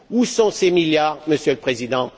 Où sont ces milliards, Monsieur le Président?